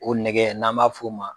O nɛgɛ n'an b'a f'o ma.